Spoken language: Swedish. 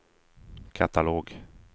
katalog